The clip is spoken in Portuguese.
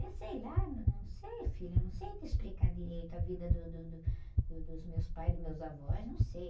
Eu sei lá, não, eu não sei, filha, não sei te explicar direito a vida do, do, do, do, dos meus pais, dos meus avós, não sei.